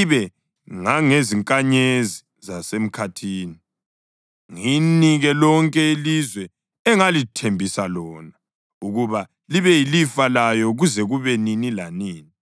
ibe ngangezinkanyezi zasemkhathini, ngiyinike lonke ilizwe engalithembisa lona ukuba libe yilifa layo kuze kube nini lanini.’ ”